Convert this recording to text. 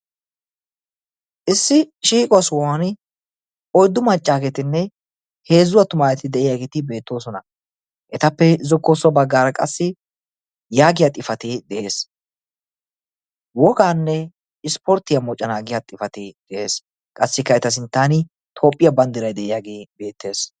issi shiiquwa sohuwan oyiddu maccaageetinne heezzu attumaageeti de'iyaageeti beettoosona. etappe zokkossabaggaara qassi yaagiya xifatee de'ees. "wogaanne isiporttiya moconaa yaagiya xifatee de'ees. qassikka eta sintan tophiya bandiray de'iyagee beettes.